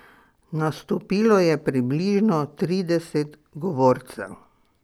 Nastopilo je približno trideset govorcev.